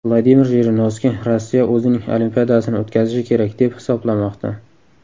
Vladimir Jirinovskiy Rossiya o‘zining Olimpiadasini o‘tkazishi kerak deb hisoblamoqda.